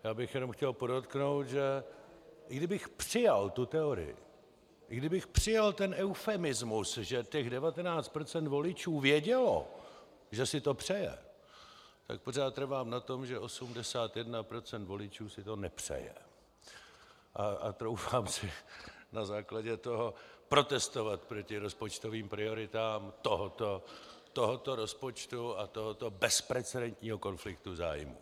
Já bych jenom chtěl podotknout, že i kdybych přijal tu teorii, i kdybych přijal ten eufemismus, že těch 19 % voličů vědělo, že si to přeje, tak pořád trvám na tom, že 81 % voličů si to nepřeje, a troufám si na základě toho protestovat proti rozpočtovým prioritám tohoto rozpočtu a tohoto bezprecedentního konfliktu zájmů.